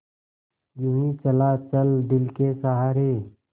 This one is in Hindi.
यूँ ही चला चल दिल के सहारे